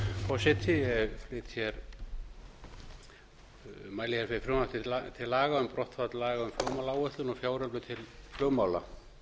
forseti ég mæli hér fyrir frumvarp til laga um brottfall laga um flugmálaáætlun og fjáröflun til flugmála